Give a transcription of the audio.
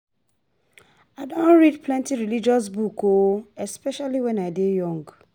I don read plenty religious book o, especially wen I dey younger